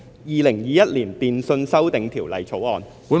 《2021年電訊條例草案》。